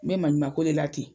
N bɛ maɲuman ko de la ten.